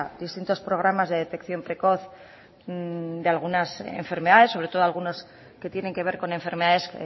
distintos programas de detección precoz de algunas enfermedades sobre todo algunos que tienen que ver con enfermedades